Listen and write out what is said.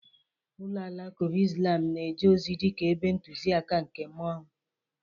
Ụlọ alakụba islam na-eje ozi dịka ebe ntụzịaka nke mmụọ.